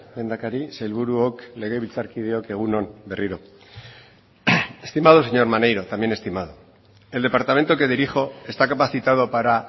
lehendakari sailburuok legebiltzarkideok egun on berriro estimado señor maneiro también estimado el departamento que dirijo está capacitado para